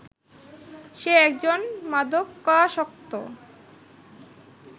সে একজন মাদকাসক্ত